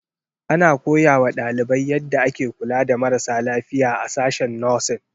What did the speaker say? Ana koya wa ɗalibai yadda ake kula da marasa lafiya a sashen 'Nursing'.